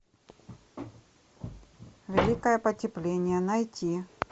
великое потепление найти